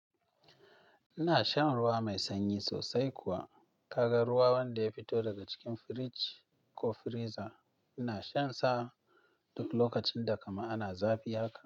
Ina shan ruwa mai sanyi sosai kuwa. Kaga ruwa wanda ya fito daga cikin firij ko freezer, ina shan sa duk lokacin da kamar ana zafi haka.